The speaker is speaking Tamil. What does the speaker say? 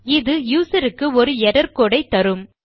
இது யூசர் க்கு ஒரு எர்ரர் கோடு ஐத்தரும்